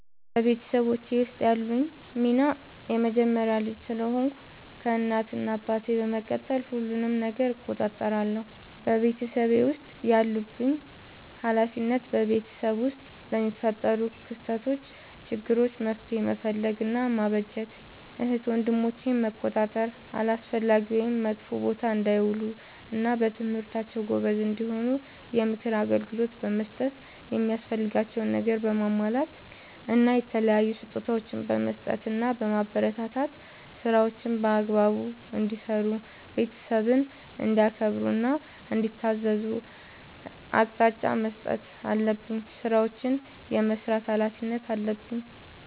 በቤተሰቦቼ ውስጥ ያለኝ ሚና የመጀመሪያ ልጅ ስለሆንኩ ከእናት እና አባቴ በመቀጠል ሁሉንም ነገር እቆጣጠራለሁ። በቤተሰቤ ውስጥ ያለብኝ ኃላፊነት በቤተሰብ ውስጥ ለሚፈጠሩ ክስተቶች ÷ችግሮች መፍትሄ መፈለግ እና ማበጀት ÷ እህት ወንድሞቼን መቆጣጠር አላስፈላጊ ወይም መጥፎ ቦታ እንዳይውሉ እና በትምህርታቸው ጎበዝ እንዲሆኑ የምክር አገልግሎት በመስጠት የሚያስፈልጋቸውን ነገር በማሟላት እና የተለያዩ ስጦታዎችን በመስጠትና በማበረታታት ÷ ስራዎችን በአግባቡ እንዲሰሩ ÷ ቤተሰብን እንዲያከብሩ እና እንዲታዘዙ አቅጣጫ መስጠት አለብኝ። ስራዎችን የመስራት ኃላፊነት አለብኝ።